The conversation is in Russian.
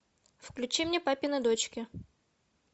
включи мне папины дочки